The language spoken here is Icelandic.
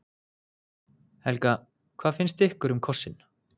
Helga: Hvað fannst ykkur um kossinn?